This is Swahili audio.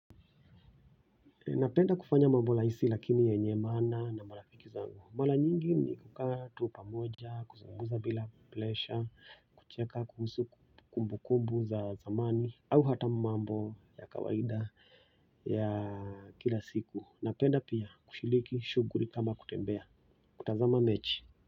Napenda kufanya mambo lahisi lakini yenye maana na marafiki zangu. Mala nyingi ni kukaa tu pamoja, kuzungumza bila plesha, kucheka kuhusu kumbukumbu za zamani au hata mambo ya kawaida ya kila siku. Napenda pia kushiliki shughuli kama kutembea, kutazama mechi.